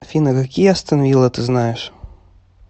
афина какие астон вилла ты знаешь